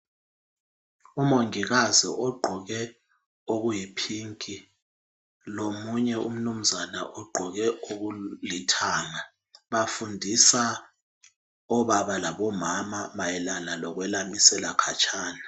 UMongikazi ogqoke okuyiPink lomunye umnumzana ogqoke okulithanga, bafundisaobaba umama mayelana lokwelamisela khatshana.